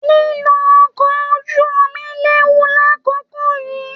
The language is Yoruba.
Lilo ọkọ ojú omi léwu l'akoko yìí.